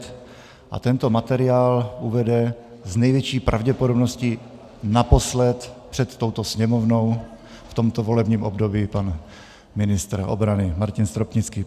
Tento materiál uvede s největší pravděpodobností naposled před touto Sněmovnou v tomto volebním období pan ministr obrany Martin Stropnický.